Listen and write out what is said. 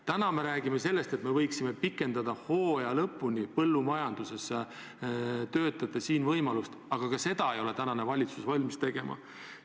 Täna me räägime sellest, et me võiksime pikendada põllumajanduses töötajate siin töötamise võimalust hooaja lõpuni, aga ka seda ei ole valitsus valmis tegema.